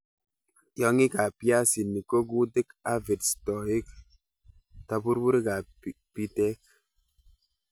Tiongikab biasinik ko kutik, aphids, toik, tabururikab bitek.